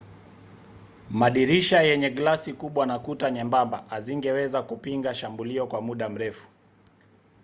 madirisha yenye glasi kubwa na kuta nyembamba hazingeweza kupinga shambulio kwa muda mrefu